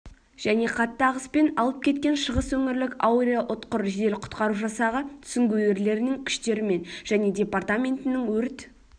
және қатты ағыспен алып кеткен шығыс өңірлік аэроұтқыр жедел-құтқару жасағы сүңгуірлерінің күштерімен және департаментінің өрт